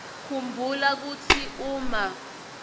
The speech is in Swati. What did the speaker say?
khumbula kutsi uma